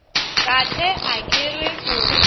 kahle a ke re o